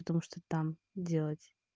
потому что там делать